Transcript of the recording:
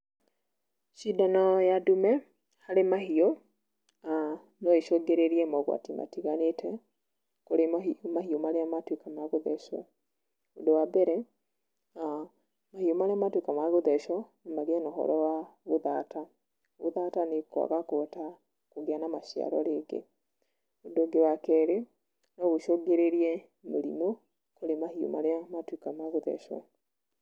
Cindano ya ndume, harĩ mahiũ, noĩcũngĩrĩrie mogwati matiganĩte, kũrĩ mahiũ marĩa matuĩka ma gũthecũo. Ũndũ wa mbere, mahiũ marĩa matuĩka ma kũthecũo, no magĩe na ũhoro wa gũthata. Gũthata nĩ kwaga kũhota, kũgĩa na maciaro rĩngĩ. Ũndũ ũngĩ wa kerĩ, no ũcũngĩrĩrie mĩrimũ, kũrĩ mahiũ marĩa matuĩka ma gũthecũo.